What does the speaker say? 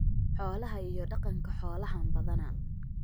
Xoolaha iyo Dhaqanka Xoolahan badanaa.